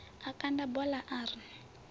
a kanda bola a ri